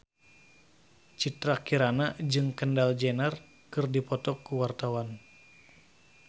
Citra Kirana jeung Kendall Jenner keur dipoto ku wartawan